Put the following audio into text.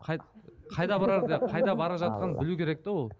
қайда барар деп қайда бара жатқанын білу керек те ол